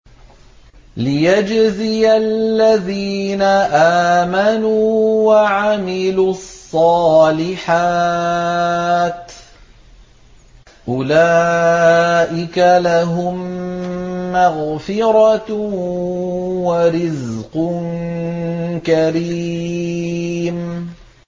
لِّيَجْزِيَ الَّذِينَ آمَنُوا وَعَمِلُوا الصَّالِحَاتِ ۚ أُولَٰئِكَ لَهُم مَّغْفِرَةٌ وَرِزْقٌ كَرِيمٌ